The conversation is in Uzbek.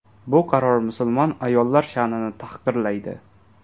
Bu qaror musulmon ayollar sha’nini tahqirlaydi.